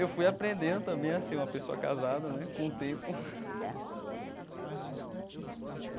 Eu fui aprendendo também a ser uma pessoa casada né com o tempo.